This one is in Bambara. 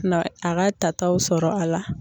Na a ka tataw sɔrɔ a la.